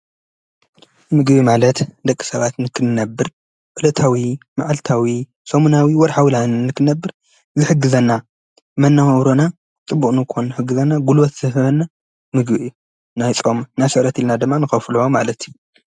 ምግቢ ማለት ደቂ ሰባት ንክንነብር ዕለታዊ፣ ማዕልታዊ፣ ሰሙናዊ ፣ወርሓዊ ንክንነብር ዝሕግዘና መናባብሮና ፅብቅ ንክኸውን ዝሕግዘና ጉልበት ዝህበና ምግቢ እዩ። ናይ ፆም ናይ ስዕረት እልና ድማ ንኸፍሎም ማለት እዩ።